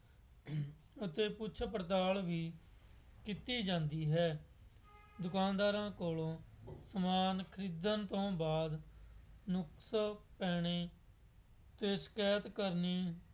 ਅਤੇ ਪੁੱਛ ਪੜਤਾਲ ਵੀ ਕੀਤੀ ਜਾਂਦੀ ਹੈ। ਦੁਕਾਨਦਾਰਾਂ ਕੋਲੋਂ ਸਮਾਨ ਖਰੀਦਣ ਤੋਂ ਬਾਅਦ ਨੁਕਸ ਪੈਣੇ ਅਤੇ ਸ਼ਿਕਾਇਤ ਕਰਨੀ